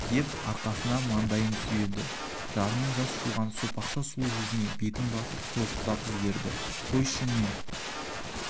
деп арқасына маңдайын сүйеді жарының жас жуған сопақша сұлу жүзіне бетін басып солықтап жіберді қойшы не